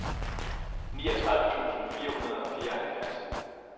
niogtredive tusind fire hundrede og fireoghalvfjerds